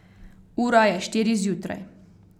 Ura je štiri zjutraj.